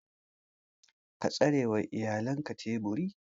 Ka tsarewa iyalan teburi.